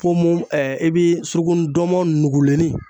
ponmon ɛɛ e bi suruku ndɔnmɔn nugulenni